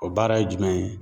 O baara ye jumɛn ye